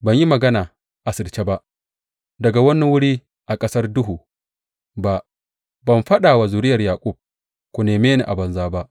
Ban yi magana asirce ba, daga wani wuri a ƙasar duhu ba; ban faɗa wa zuriyar Yaƙub, Ku neme ni a banza ba.’